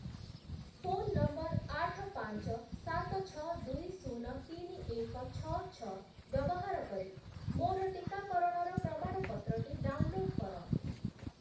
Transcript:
Phone number ଆଠ, ପାଞ୍ଚ, ସାତ, ଛଅ, ଦୁଇ, ଶୂନ, ତିନି, ଏକ, ଛଅ, ଛଅ ବ୍ୟବହାର କରି ମୋର ଟିକାକରଣର ପ୍ରମାଣପତ୍ରଟି ଡାଉନ୍‌ଲୋଡ୍ କର ।